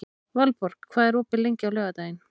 Valborg, hvað er opið lengi á laugardaginn?